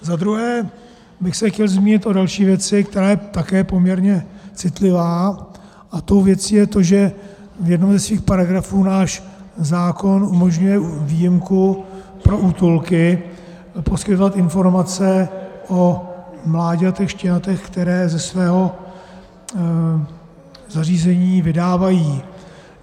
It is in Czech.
Za druhé bych se chtěl zmínit o další věci, která je také poměrně citlivá, a tou věcí je to, že v jednom ze svých paragrafů náš zákon umožňuje výjimku pro útulky poskytovat informace o mláďatech, štěňatech, která ze svého zařízení vydávají.